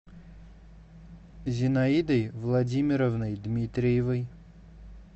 зинаидой владимировной дмитриевой